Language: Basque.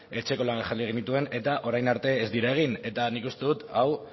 etxeko lanak jarri genituen eta orain arte ez dira egin eta nik uste dut hau